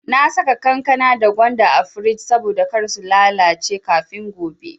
Na saka kankana da gwanda a frij saboda kar su lalace kafin gobe.